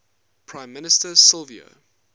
prime minister silvio